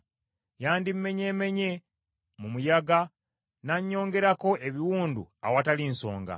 Yandimenyeemenye mu muyaga nannyongerako ebiwundu awatali nsonga.